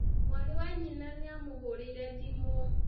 Mwarĩ wa nyina nĩ amũhũrĩire thimũ